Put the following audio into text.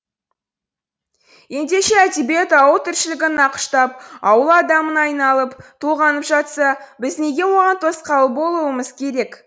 ендеше әдебиет ауыл тіршілігін нақыштап ауыл адамын айналып толғанып жатса біз неге оған тосқауыл болуымыз керек